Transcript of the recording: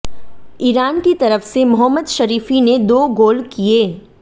Iran की तरफ से मोहम्मद शरीफी ने दो गोल किये